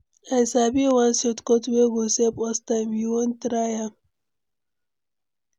I sabi one shortcut wey go save us time, you wan try am?